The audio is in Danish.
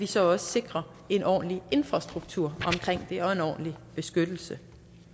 så også sikrer en ordentlig infrastruktur omkring det og en ordentlig beskyttelse